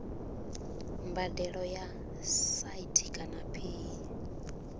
mbadelo ya site kana paye